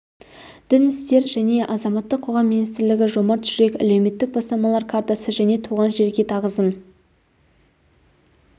дін істері және азаматтық қоғам министрлігі жомарт жүрек әлеуметтік бастамалар картасы және туған жерге тағзым